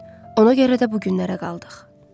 Ona görə də bu günlərə qaldıq.